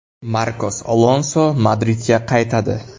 Markos Alonso Madridga qaytadi.